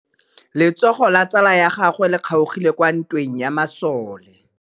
Letsôgô la tsala ya gagwe le kgaogile kwa ntweng ya masole.